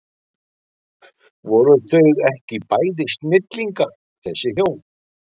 Voru þau ekki bæði snillingar þessi hjón?